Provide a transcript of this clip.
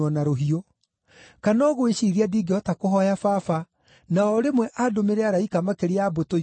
Kana ũgwĩciiria ndingĩhota kũhooya Baba, na o rĩmwe andũmĩre araika makĩria ya mbũtũ ikũmi na igĩrĩ?